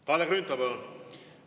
Kalle Grünthal, palun!